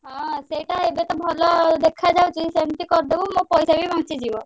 ହଁ ସେଇଟା ଏବେ ତ ଭଲ ଦେଖାଯାଉଛି ସେମତି କରିଦବୁ ମୋ ପଇସା ବି ବଞ୍ଚିଯିବ।